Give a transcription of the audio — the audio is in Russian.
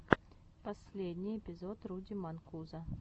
последний эпизод руди манкузо